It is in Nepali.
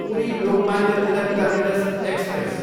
Puri, Lokmanya Tilak terminus express